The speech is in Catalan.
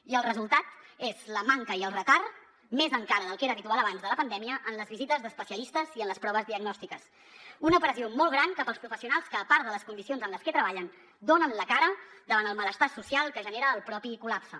i el resultat és la manca i el retard més encara del que era habitual abans de la pandèmia en les visites d’especialistes i en les proves diagnòstiques una pressió molt gran cap als professionals que a part de les condicions en les que treballen donen la cara davant el malestar social que genera el propi col·lapse